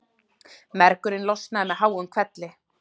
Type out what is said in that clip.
Mergurinn losnaði með háum hvelli.